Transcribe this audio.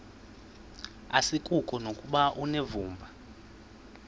asikuko nokuba unevumba